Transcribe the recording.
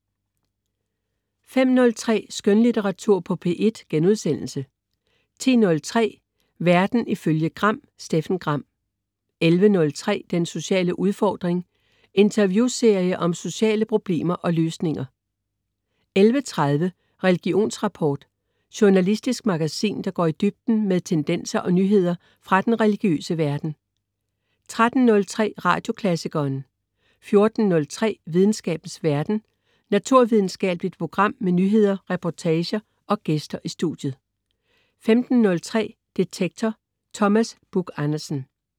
05.03 Skønlitteratur på P1* 10.03 Verden ifølge Gram. Steffen Gram 11.03 Den sociale udfordring. Interviewserie om sociale problemer og løsninger 11.30 Religionsrapport. Journalistisk magasin, der går i dybden med tendenser og nyheder fra den religiøse verden 13.03 Radioklassikeren 14.03 Videnskabens verden. Naturvidenskabeligt program med nyheder, reportager og gæster i studiet 15.03 Detektor. Thomas Buch Andersen